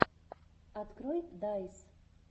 открой дайс